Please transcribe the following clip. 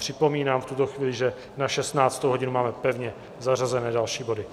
Připomínám v tuto chvíli, že na 16. hodinu máme pevně zařazené další body.